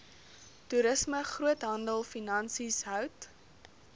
toerisme groothandelfinansies hout